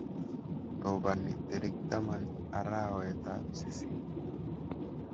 Robani tarik taman arawetab sisit